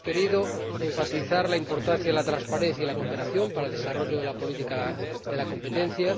Hemos querido enfatizar la importancia de la transparencia y la cooperación para el desarrollo de la política de competencia.